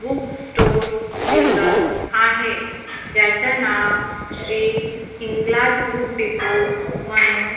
book store दिसत आहे ज्याचं नाव श्री हिंगलाज बुक डेपो म्हणून--